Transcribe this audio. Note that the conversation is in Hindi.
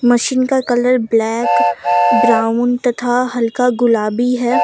मशीन का कलर ब्लैक ब्राउन तथा हल्का गुलाबी है।